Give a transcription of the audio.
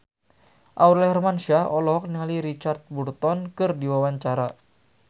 Aurel Hermansyah olohok ningali Richard Burton keur diwawancara